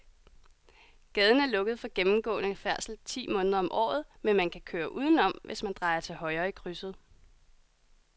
Gaden er lukket for gennemgående færdsel ti måneder om året, men man kan køre udenom, hvis man drejer til højre i krydset.